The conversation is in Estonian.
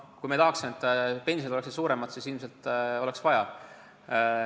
Kui me tahaksime, et pensionid oleks suuremad, siis ilmselt oleks vaja.